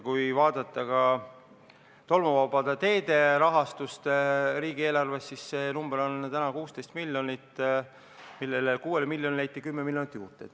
Kui vaadata tolmuvabade teede rahastust riigieelarves, siis see number on 16 miljonit, 6 miljonile leiti 10 miljonit juurde.